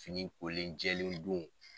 Fini kolen jɛlen dun